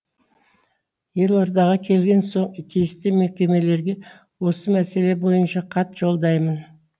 елордаға келген соң тиісті мекемелерге осы мәселе бойынша хат жолдаймын